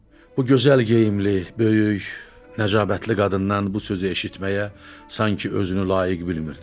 Bu gözəl geyimli, böyük, nəcabətli qadından bu sözü eşitməyə sanki özünü layiq bilmirdi.